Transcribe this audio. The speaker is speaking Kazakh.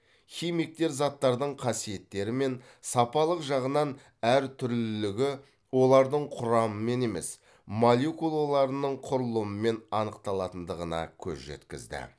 химиктер заттардың қасиеттері мен сапалық жағынан әр түрлілігі олардың құрамымен емес молекулаларының құрылымымен анықталатындығына көз жеткізді